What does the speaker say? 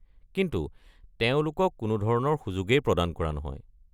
কিন্তু তেওঁলোকক কোনোধৰণৰ সুযোগেই প্ৰদান কৰা নহয়।